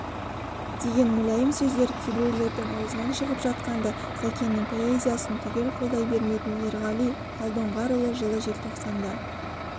деген мүләйім сөздер кейбіреулердің аузынан шығып жатқанда сәкеннің позициясын түгел қолдай бермейтін ерғали алдоңғарұлы жылы желтоқсанда